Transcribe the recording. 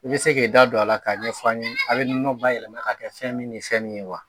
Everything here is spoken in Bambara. I bɛ se k'i da don a la k'a ɲɛfɔ an ye a bɛ nɔnɔ bayɛlɛma ka kɛ fɛn min ni fɛn min ye wa